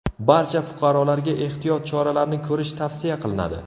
Barcha fuqarolarga ehtiyot choralarini ko‘rish tavsiya qilinadi.